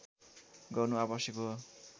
गर्नु आवश्यक हो